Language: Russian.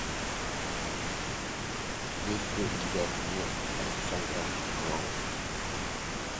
есть ли у тебя гнев александра роу